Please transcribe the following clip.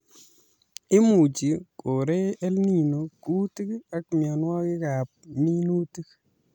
Imuchi korei EL Nino kuutik ak mienwokikab minutik